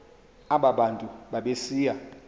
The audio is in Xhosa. aba bantu babesiya